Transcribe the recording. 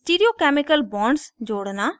stereo chemical bonds जोड़ना